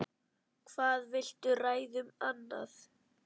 Hvað viltu ræða um annað?